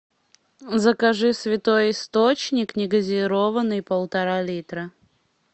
закажи святой источник негазированный полтора литра